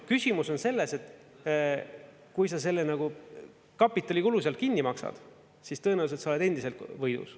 Küsimus on selles, et kui sa selle nagu kapitalikulu sealt kinni maksad, siis tõenäoliselt sa oled endiselt võidus.